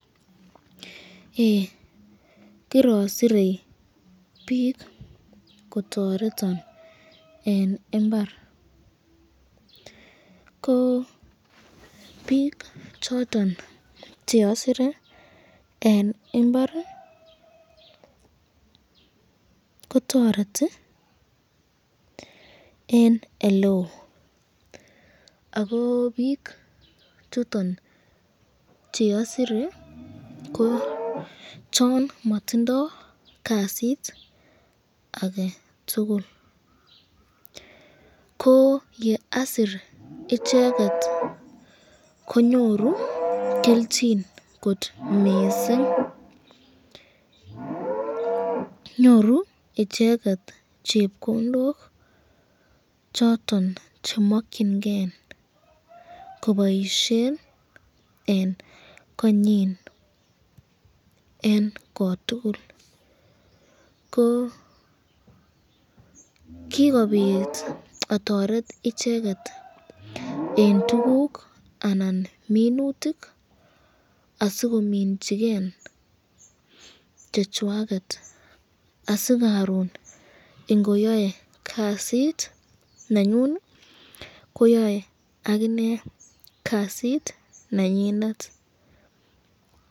eeeh kirasire bik kotoretanbeng imbar, ko bik choton cheasire eng imbar kotoreti eng eleo Ako bik choton cheasire